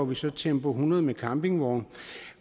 vi så tempo hundrede campingvogne